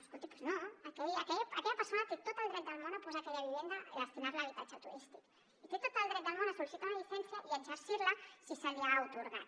escolti doncs no aquella persona té tot el dret del món a posar aquella vivenda i destinar la a habitatge turístic i té tot el dret del món a sol·licitar una llicència i a exercir la si se li ha atorgat